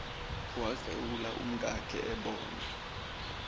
waklewula umkakhe ebona